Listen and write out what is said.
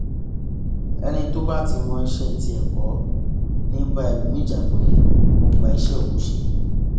ẹni tó bá ti mọ iṣẹ tiẹ kọ ni ì bá ẹlòmíín jà pé ó ń gba iṣẹ òun ṣe